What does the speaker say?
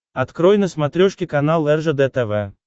открой на смотрешке канал ржд тв